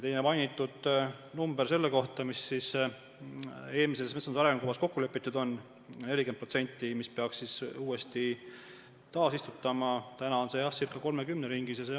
Te mainisite, et eelmises metsanduse arengukavas on kokku lepitud, et 40% peaks uuesti täis istutama, praegu on see, jah, ca 30% ringis.